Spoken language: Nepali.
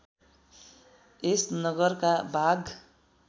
यस नगरका बाघ